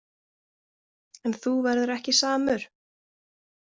En þú verður ekki samur.